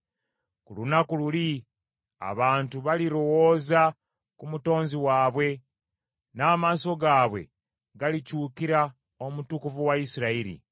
Ku lunaku luli abantu balirowooza ku Mutonzi waabwe, n’amaaso gaabwe galikyukira Omutukuvu wa Isirayiri.